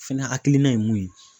Fɛnɛ hakilina ye mun ye.